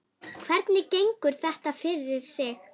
Hvernig gengur þetta fyrir sig?